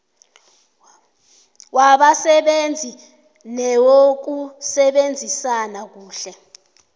wabasebenzi newokusebenzisana kuhle